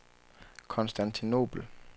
Konstantinobel